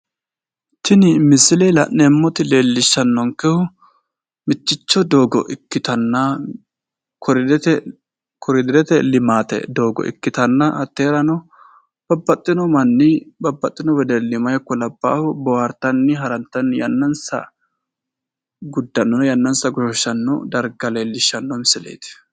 Tini misile la'neemot lellishanonkehu Miticho doogo ikkitanna koliderete limaate Doogo ikkitanna hatteerano babbaxxino manni Babaxino wedelli meyata ikko labaaha boohartani Harantanni yannansa goshooshano darga kultanno misileet.